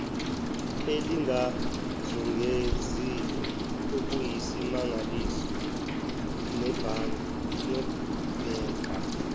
elingizungezile okuyisimangaliso ngabheka